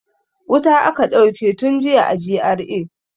Wuta aka dauke tun jiya a GRA.